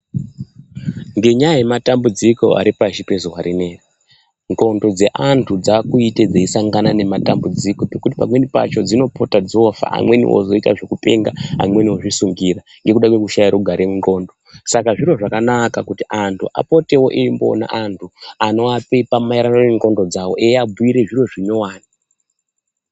Ngenyaya yematambudziko ari pashi rezuwa rino iri ndxondo dzeanhu dzaakuite dzeisangana nematambudziko zvekuti pamweni pacho dzinopota dzoofa amweni ozoita zvekupenga amweni ozvisungira nekuda kwekushaye rugare munxlondo saka zviro zvakanaka kuti anhu apotewo eimboonawo anhu anoapepa maererano nendxondo dzawo eiabhuyire zviro zvinyowani.